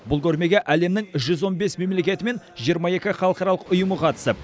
бұл көрмеге әлемнің жүз он бес мемлекеті мен жиырма екі халықаралық ұйымы қатысып